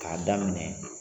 K'a daminɛ